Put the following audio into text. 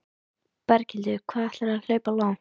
Berghildur: Hvað ætlarðu að hlaupa langt?